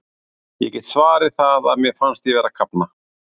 Ég get svarið það að mér fannst ég vera að kafna.